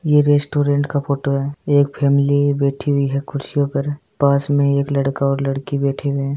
ये रेस्टॉरेंट की फोटो है एक फॅमिली बेठी हुई है कुर्सियों पर पास में एक लड़का और लड़की बैठे हुए है।